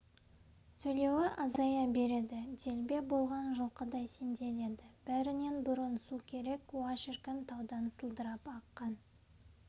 сөйлеуі азая береді делбе болған жылқыдай сенделеді бәрінен бұрын су керек уа шіркін таудан сылдырап аққан